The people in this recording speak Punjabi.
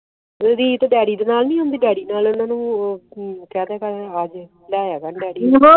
ਰੀਤ ਡੈਡੀ ਦੇ ਨਾਲ ਨਹੀਂ ਆਂਦੀ ਡੈਡੀ ਨਾਲ ਓਹਨਾ ਨੂੰ ਓ ਕਰੋ ਕ ਤੇ ਆਏ ਆ ਜਾਏ ਡੈਡੀ ਦੇ